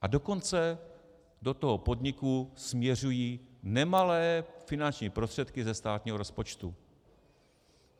A dokonce do toho podniku směřují nemalé finanční prostředky ze státního rozpočtu.